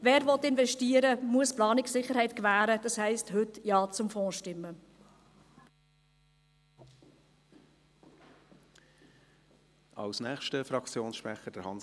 Wer investieren will, muss die Planungssicherheit gewährleisten, das heisst, heute Ja zum Fonds zu stimmen.